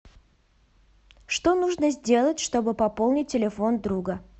что нужно сделать чтобы пополнить телефон друга